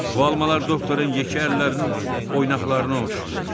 Bu almalar doktorun yekə əllərinin oynaqlarına oxşayır.